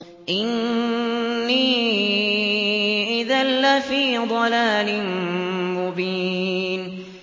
إِنِّي إِذًا لَّفِي ضَلَالٍ مُّبِينٍ